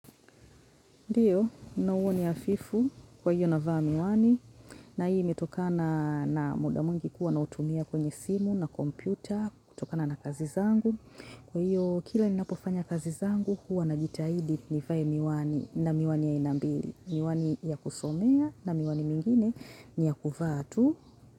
Ndiyo, nauwa ni hafifu, kwa hiyo navaa miwani, na hii imetokana na muda mwingi kuwa nautumia kwenye simu, na kompyuta, kutokana na kazi zangu. Kwa hiyo, kila ninapofanya kazi zangu, huwa najitahidi ni vae miwani na miwani ya aina mbili. Miwani ya kusomea na miwani mingine ni ya kuvaa tu.